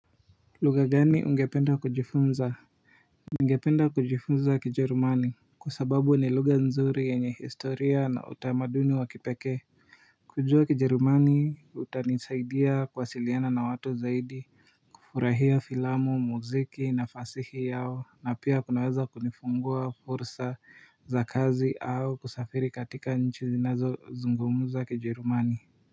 Lugha gani ungependa kujifunza. Ungependa kujifunza kijerumani kwa sababu ni lugha nzuri, yenye historia na utamaduni wa kipekee kujua kijerumani utanisaidia kuwasiliana na watu zaidi kufurahia filamu muziki na fasihi yao, na pia kunaweza kunifungua fursa za kazi au kusafiri katika nchi zinazo zungumuza kijerumani.